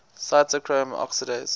cytochrome oxidase